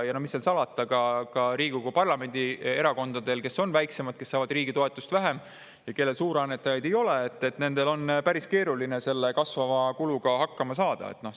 Ja mis seal salata, ka Riigikogu, parlamendi erakondadel, kes on väiksemad, kes saavad riigi toetust vähem ja kellel suurannetajaid ei ole, on päris keeruline selle kasvava kuluga hakkama saada.